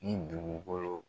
Ni dugukolo.